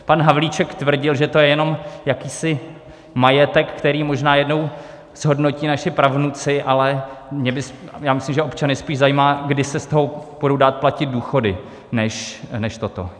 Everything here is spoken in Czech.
Pan Havlíček tvrdil, že to je jenom jakýsi majetek, který možná jednou zhodnotí naši pravnuci, ale já myslím, že občany spíš zajímá, kdy se z toho budou dát platit důchody, než toto.